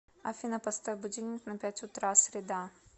афина поставь будильник на пять утра среда